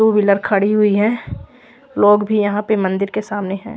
To wheeler खड़ी हुई है लोग भी यहाँ पे मंदिर के सामने है ।